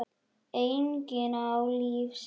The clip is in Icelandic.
Enginn á líf sitt einn.